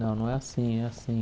Não, não é assim, é assim.